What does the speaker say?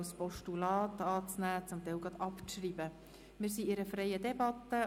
Wir befinden uns in einer freien Debatte.